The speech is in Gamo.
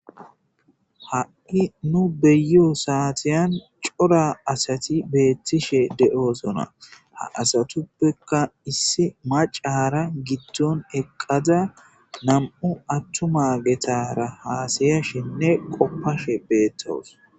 ha7i nu beyo saatiyan cora asati beettishe de7osona ha asatuppeka issi macaara giddon eqqaza nam7u attuma getara haasaya shinne qoppashe beettawus